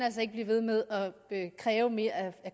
blive ved med at kræve mere af